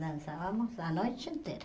Dançávamos a noite inteira.